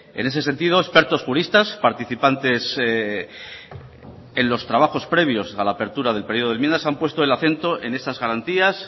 en ese sentido expertos juristas participantes en los trabajos previos a la apertura del periodo de enmiendas han puesto el acento en esas garantías